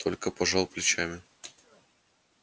только пожал плечами